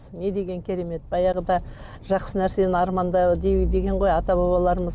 не деген керемет баяғыда жақсы нәрсені арманда деген ғой ата бабаларымыз